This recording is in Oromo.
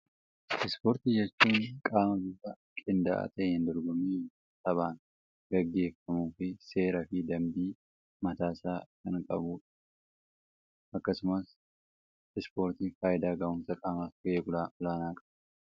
Ispoortii jechuun qaama bifa qindaa'aa ta'een dorgommii taphaan gaggeeffamuu fi seera fi dambii mataa isaa kan qabuudha. Akkasumas ispoortiin faayidaa gahuumsa qaamaaf gahee olaanaa qaba.